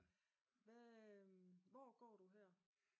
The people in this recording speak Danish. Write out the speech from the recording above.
Hvad hvor går du her?